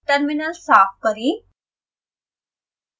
terminal साफ करें